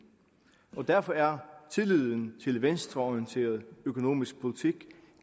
derfor er tilliden til en venstreorienteret økonomisk politik